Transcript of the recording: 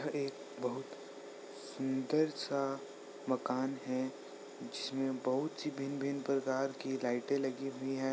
एक बहुत सुंदर सा मकान है जिसमें बहुत सी भिन्न भिन्न प्रकार की लाइटे लगी हुई हैं।